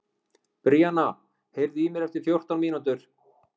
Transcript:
Bríanna, heyrðu í mér eftir fjórtán mínútur.